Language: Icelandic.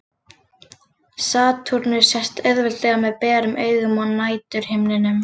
Satúrnus sést auðveldlega með berum augum á næturhimninum.